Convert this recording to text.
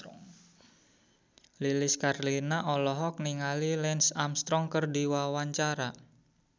Lilis Karlina olohok ningali Lance Armstrong keur diwawancara